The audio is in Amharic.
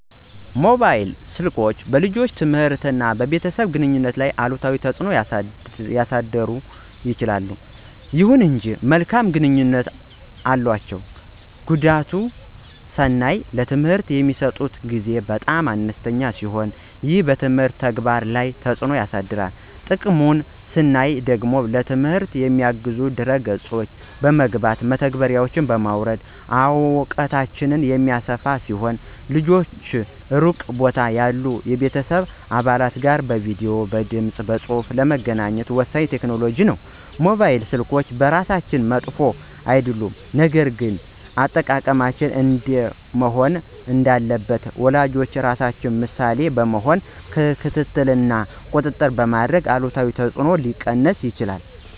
ሞባይል ስልኮች በልጆች ትምህርት እና በቤተሰብ ግንኙነት ላይ አሉታዊ ተጽዕኖ ሊያሳድሩ ይችላሉ። ይሁን እንጂ መልካም ጎኖችም አሏቸው። ጉዳቱን ስናይ ለትምህርት የሚሰጡት ጊዜ በጣም አነስተኛ ሲሆን ይህም በትምህርት ተግባር ላይ ተጽዕኖ ያሳድራል። ጥቅሙን ስናይ ደግሞ ለትምህርት የሚያግዙ ድህረ ገጾች በመግባት (መተግበሪያዎችን) በማውረድ እውቀታቸውን የሚያሰፉ ሲሆን ልጆች ሩቅ ቦታ ያሉ የቤተሰብ አባላት ጋር በቪዲዬ፣ በድምፅ በፁሁፍ ለመገናኘት ወሳኝ ቴክኖሎጂ ነው። ሞባይል ስልኮች በራሳቸው መጥፎ አይደሉም፣ ነገር ግን አጠቃቀማቸው እንዴት መሆን እንዳለበት ወላጆች ራሳቸው ምሳሌ በመሆን ክትትል እና ቁጥጥር በማድረግ አሉታዊ ተጽዕኖዎችን ሊቀንሱ ይችላሉ።